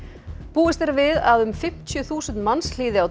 búist er við að um fimmtíu þúsund manns hlýði á